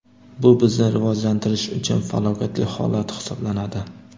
Bu bizni rivojlantirish uchun falokatli holat hisoblanadi.